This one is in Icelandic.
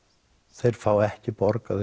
þeir fá ekki borgaðan